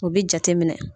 U bi jate minɛ